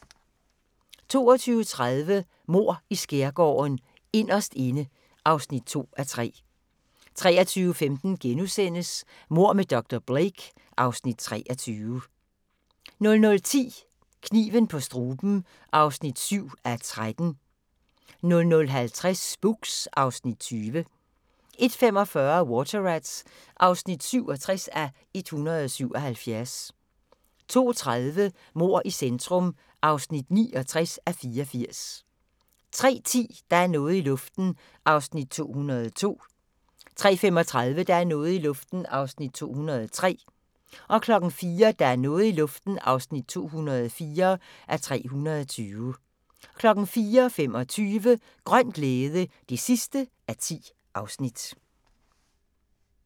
22:30: Mord i Skærgården: Inderst inde (2:3) 23:15: Mord med dr. Blake (Afs. 23)* 00:10: Kniven på struben (7:13) 00:50: Spooks (Afs. 20) 01:45: Water Rats (67:177) 02:30: Mord i centrum (69:84) 03:10: Der er noget i luften (202:320) 03:35: Der er noget i luften (203:320) 04:00: Der er noget i luften (204:320) 04:25: Grøn glæde (10:10)